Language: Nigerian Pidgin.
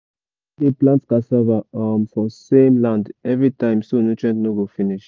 we no dey plant cassava um for same land every time so nutrient no go finish.